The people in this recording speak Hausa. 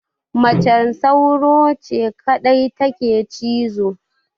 Macen sauro ce kadai take cizo